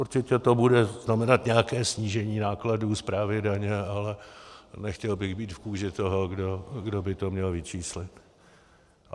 Určitě to bude znamenat nějaké snížení nákladů správy daně, ale nechtěl bych být v kůži toho, kdo by to měl vyčíslit.